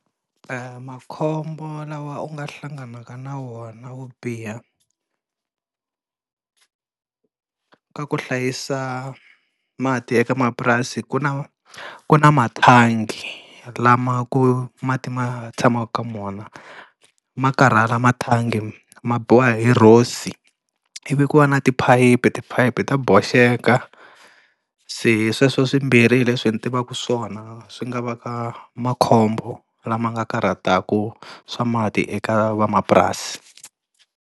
E makhombo lawa u nga hlanganaka na wona wo biha, ka ku hlayisa mati eka mapurasi ku na ku na mathangi lama ku mati ma tshamaka ka wona ma karhala mathangi ma biwa hi rosi ivi ku va na tiphayiphi, riphayiphi ta boxeke. Se sweswo swimbirhi hi leswi ni tivaka swona swi nga va ka makhombo lama nga karhataka swa mati eka vamapurasi.